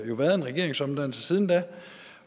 jo været en regeringsomdannelse siden da